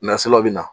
Nansaraw bɛ na